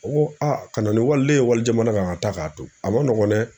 O ko a ka na ni waliden ye wali jamana kan ka taa k'a to a man nɔgɔn dɛ.